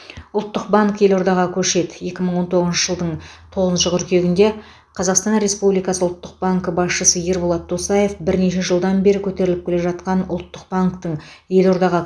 ұлттық банк елордаға көшеді екі мың он тоғызыншы жылдың тоғызыншы қыркүйегінде қазақстан республикасы ұлттық банкі басшысы ерболат досаев бірнеше жылдан бері көтеріліп келе жатқан ұлттық банктің елордаға